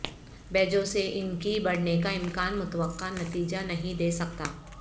بیجوں سے ان کی بڑھنے کا امکان متوقع نتیجہ نہیں دے سکتا